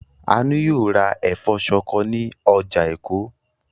Àánú yóò ra ẹ̀fọ́ ṣọkọ ní ọjà Èkó.